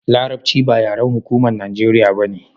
larabci ba yaren hukumar najeriya bane